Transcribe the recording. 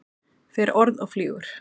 Fer orð og flýgur.